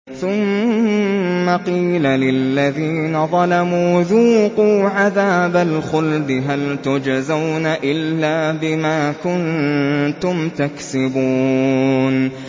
ثُمَّ قِيلَ لِلَّذِينَ ظَلَمُوا ذُوقُوا عَذَابَ الْخُلْدِ هَلْ تُجْزَوْنَ إِلَّا بِمَا كُنتُمْ تَكْسِبُونَ